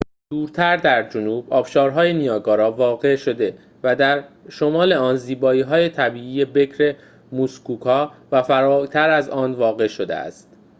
دورتر در جنوب آبشارهای نیاگارا واقع شده و در شمال آن زیبایی‌های طبیعی بکر موسکوکا و فراتر از آن واقع شده است